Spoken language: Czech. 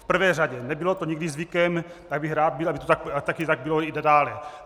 V prvé řadě, nebylo to nikdy zvykem, tak bych rád byl, aby to taky tak bylo i nadále.